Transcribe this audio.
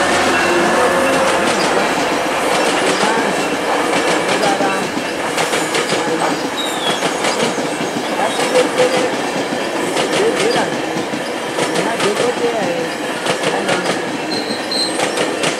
Tinokurudzirwa sevantu vanorarama nezviyayiyo kuti ngatidetsereke nezvibhedlera zvedu, nemadhogodheya edu nana mukoti vedu.